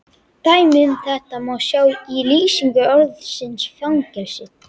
Dæmi um þetta má sjá í lýsingu orðsins fangelsi: